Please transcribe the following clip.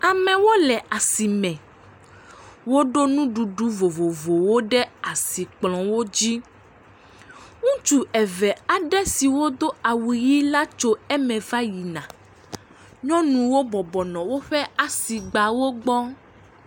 Amewo le asime. Woɖo nuɖuɖu vovovowo ɖe asikplɔ̃wo dzi. Ŋutsu eve siwo do awu ʋi la tso eme va yina. Nyɔnuwo bɔbɔ nɔ woƒe asigbawo gbɔ.